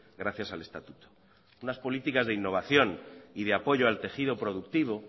gracias al estatuto unas políticas de innovación y de apoyo al tejido productivo